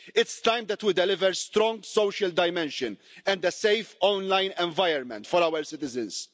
It's time that we delivered a strong social dimension and a safe online environment for our citizens.